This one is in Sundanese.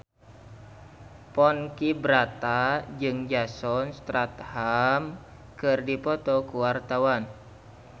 Ponky Brata jeung Jason Statham keur dipoto ku wartawan